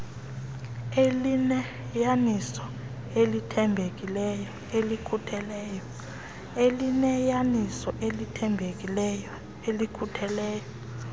elineyaniso elithembekileyo elikhutheleyo